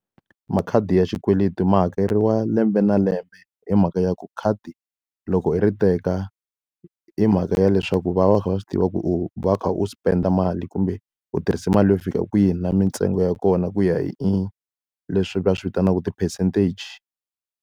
Makhadi ya xikweleti ma hakeriwa lembe na lembe hi mhaka ya ku khadi, loko i ri teka hi mhaka ya leswaku va va kha va swi tiva ku u va u kha u spend-a mali kumbe u tirhise mali yo fika kwihi na mintsengo ya kona ku ya hi leswi va swi vitanaka ti-percentage.